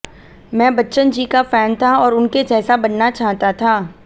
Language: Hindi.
मैं बच्चन जी का फैन था और उनके जैसा बनना चाहता था